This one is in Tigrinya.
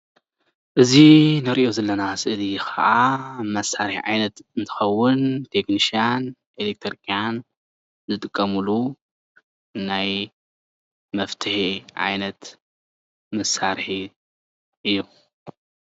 እዚ እንሪኦ ዘለና ስእሊ ከዓ መሳርሒ ዓይነት እንትከውን ቴክኒሻን ኤሌትሪኪያን ዝጥቀምሉ ናይ መፍትሒ ዓይነት መሳርሒ እዩ፡፡